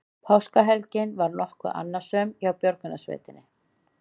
Páskahelgin var nokkuð annasöm hjá björgunarsveitum